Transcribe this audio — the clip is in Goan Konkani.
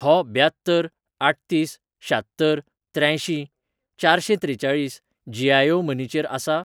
हो ब्यात्तर आठतीस शात्तर त्र्यांयशीं चारशेंत्रेचाळीस जी.आय.ओ मनी चेर आसा?